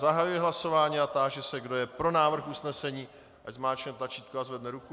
Zahajuji hlasování a táži se, kdo je pro návrh usnesení, ať zmáčkne tlačítko a zvedne ruku.